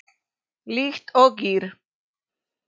Líkt og gír